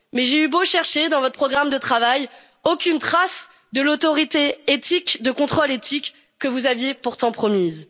Mais j'ai eu beau chercher dans votre programme de travail, aucune trace de l'autorité de contrôle éthique que vous aviez pourtant promise.